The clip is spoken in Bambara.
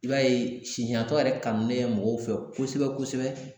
I b'a ye sisantɔ yɛrɛ kanulen mɔgɔw fɛ kosɛbɛ kosɛbɛ